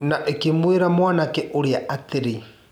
Na ĩkĩmwĩra mwanake ũrĩa atĩ.